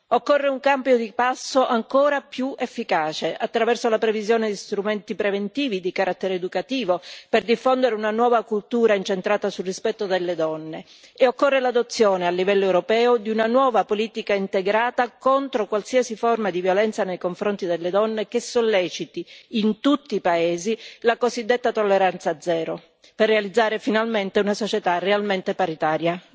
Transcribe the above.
Occorre un cambio di passo ancora più efficace, attraverso la previsione di strumenti preventivi di carattere educativo, per diffondere una nuova cultura incentrata sul rispetto delle donne, e occorre l'adozione a livello europeo di una nuova politica integrata contro qualsiasi forma di violenza nei confronti delle donne, che solleciti in tutti i paesi la cosiddetta tolleranza zero, per realizzare finalmente una società realmente paritaria.